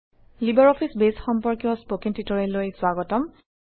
LibreOffice Base সম্পৰ্কীয় স্পকেন টিউটৰিয়েললৈ স্বাগতম